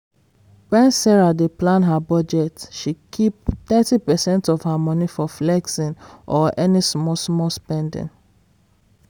when sarah dey plan her budget she keep thirty percent of her money for flexing or any small-small spending.